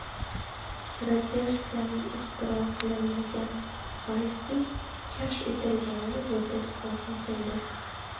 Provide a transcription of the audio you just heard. Radiatsiyaning ixtiro qilinmagan, balki kashf etilganini yodda tutmoq muhimdir.